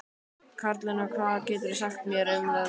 Karlinna, hvað geturðu sagt mér um veðrið?